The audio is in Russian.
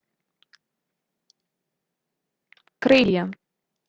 крылья